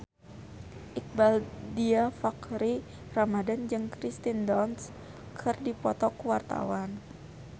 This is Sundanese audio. Iqbaal Dhiafakhri Ramadhan jeung Kirsten Dunst keur dipoto ku wartawan